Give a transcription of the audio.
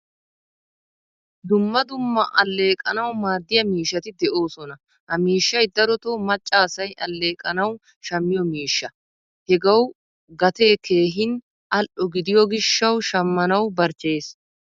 Dumma dumma alleqanawu maadiyaa miishshati de'osona. Ha miishshay daroto macca asay alleqanawu shammiyo miishshaa. Hagawu gatee keehin al'o gidiyo gishshawu shammanawu barchcheyees.